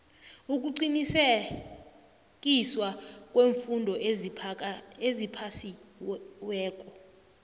ukuqinisekiswa kweemfundo eziphasiweko